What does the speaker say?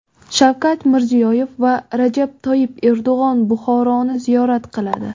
Shavkat Mirziyoyev va Rajab Toyyib Erdo‘g‘on Buxoroni ziyorat qiladi.